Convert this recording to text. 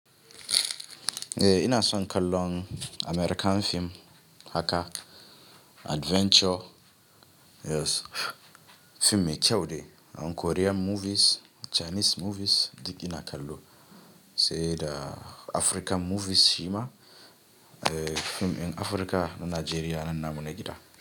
Eh ina son kallon American fim haka adventure, yes fim mai kyau ne. And Korean movies, Chinese movies duk ina kallo sai da African movies shima eh fim in Africa, Nigeria nan nan namu na gida.